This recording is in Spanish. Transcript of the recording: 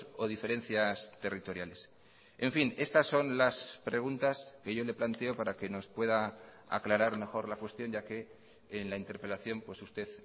o diferencias territoriales en fin estas son las preguntas que yo le planteo para que nos pueda aclarar mejor la cuestión ya que en la interpelación pues usted